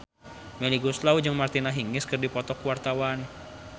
Melly Goeslaw jeung Martina Hingis keur dipoto ku wartawan